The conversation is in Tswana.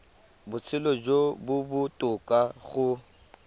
botshelo jo bo botoka go